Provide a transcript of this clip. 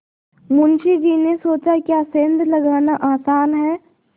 मुंशी जी ने सोचाक्या सेंध लगाना आसान है